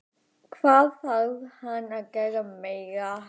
Hvað þarf hann að gera meira?